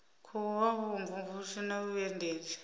khou vha vhumvumvusi na vhuendedzi